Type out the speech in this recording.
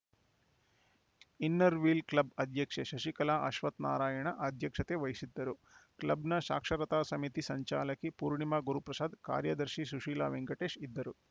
inner wheel club ಅಧ್ಯಕ್ಷೆ ಶಶಿಕಲಾ ಅಶ್ವತ್ಥನಾರಾಯಣ ಅಧ್ಯಕ್ಷತೆ ವಹಿಸಿದ್ದರು ಕ್ಲಬ್‌ನ ಸಾಕ್ಷರತಾ ಸಮಿತಿ ಸಂಚಾಲಕಿ ಪೂರ್ಣಿಮಾ ಗುರುಪ್ರಸಾದ್‌ ಕಾರ್ಯದರ್ಶಿ ಸುಶೀಲ ವೆಂಕಟೇಶ್‌ ಇದ್ದರು